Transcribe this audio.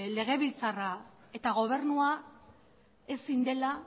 legebiltzarra eta gobernua ezin dela